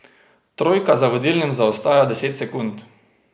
Trojka za vodilnim zaostaja deset sekund.